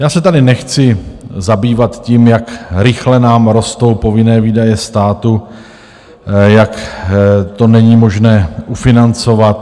Já se tady nechci zabývat tím, jak rychle nám rostou povinné výdaje státu, jak to není možné ufinancovat.